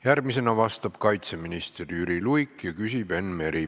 Järgmisena vastab kaitseminister Jüri Luik ja küsib Enn Meri.